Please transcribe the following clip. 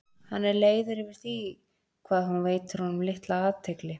Hann er leiður yfir því hvað hún veitir honum litla athygli.